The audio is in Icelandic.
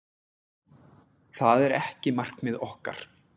Það er ekki markmið okkar.